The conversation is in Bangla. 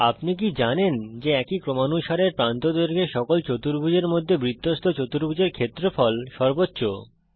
আপনি কি জানেন যে একই ক্রমানুসারের প্রান্তদৈর্ঘ্যের সকল চতুর্ভুজের মধ্যে বৃত্তস্থ চতুর্ভুজের ক্ষেত্রফল সর্বোচ্চ